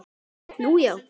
Nú, já?